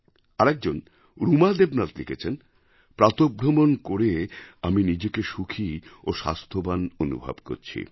আরেকজন রুমা দেবনাথ লিখেছেন প্রাতঃভ্রমণ করে আমি নিজেকে সুখী এবং স্বাস্থ্যবান অনুভব করছি